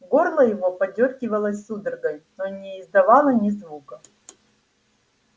горло его подёргивалось судорогой но не издавало ни звука